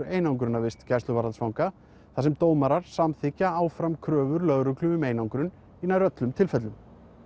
einangrunarvist gæsluvarðhaldsfanga þar sem dómara samþykkja áfram kröfur lögreglu um einangrun í nær öllum tilfellum